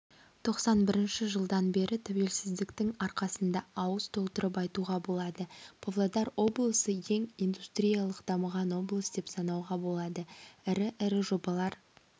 тоқсан бірінші жылдан бері тәуелсіздіктің арқасында ауыз толтырып айтуға болады павлодар облысы ең индустриялық дамыған облыс деп санауға болады ірі-ірі жобалар